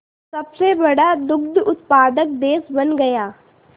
सबसे बड़ा दुग्ध उत्पादक देश बन गया